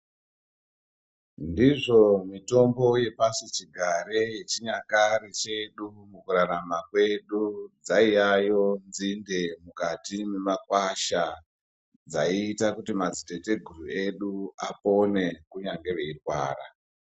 Ndizvo mitombo yepasichigare yechinyakare chedu mukurarama kwedu, dzaiyayo nzinde mukati mwemakwasha, dzaiita kuti madziteteguru edu apone kunyange eirwara.